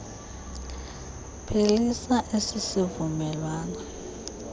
phelisa esi sivumelwano